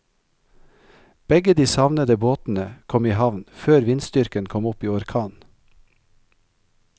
Begge de savnede båtene kom i havn før vindstyrken kom opp i orkan.